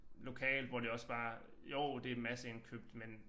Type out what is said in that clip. Lokalt hvor det også bare jo det masseindkøbt men